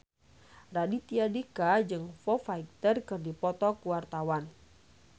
Raditya Dika jeung Foo Fighter keur dipoto ku wartawan